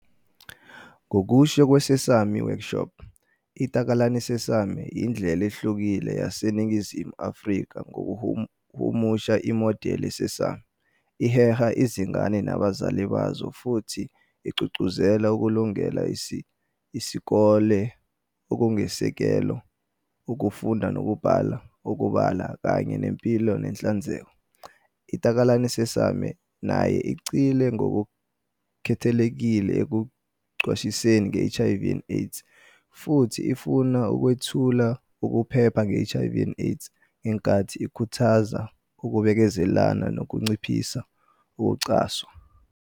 Ngokusho kweSesame Workshop, "iTakalani Sesame" "yindlela ehlukile yaseNingizimu Afrika yokuhumusha imodeli yeSesame, iheha izingane nabazali bazo futhi igqugquzela ukulungela isikole okuyisisekelo, ukufunda nokubhala, ukubala, kanye nempilo nenhlanzeko. "iTakalani Sesame" nayo igxile ngokukhethekile ekuqwashiseni nge-HIV and AIDS futhi ifuna ukwethula ukuphepha nge-HIV and AIDS ngenkathi ikhuthaza ukubekezelelana nokunciphisa ukucwaswa.